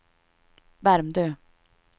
Värmdö